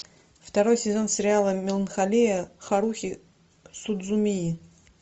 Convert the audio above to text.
второй сезон сериал меланхолия харухи судзумии